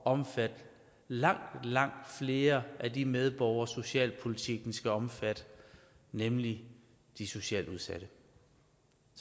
omfatte langt langt flere af de medborgere socialpolitikken skal omfatte nemlig de socialt udsatte